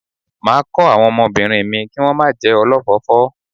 Máa kọ́ àwọn ọmọbìnrin mi kí wón má jẹ́ olọ́fọ̀ọ́fọ́.